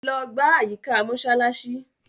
Logbà àyíkà Mósálàsí.